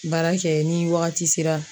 Baara kɛ ni wagati sera